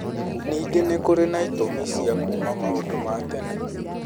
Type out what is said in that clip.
Nĩngĩ nĩ kũrĩ na ĩtũmi cia kuuma maũndu ma tene.